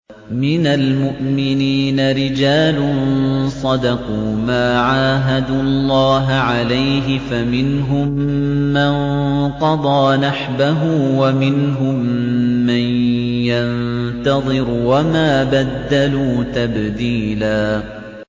مِّنَ الْمُؤْمِنِينَ رِجَالٌ صَدَقُوا مَا عَاهَدُوا اللَّهَ عَلَيْهِ ۖ فَمِنْهُم مَّن قَضَىٰ نَحْبَهُ وَمِنْهُم مَّن يَنتَظِرُ ۖ وَمَا بَدَّلُوا تَبْدِيلًا